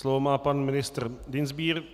Slovo má pan ministr Dienstbier.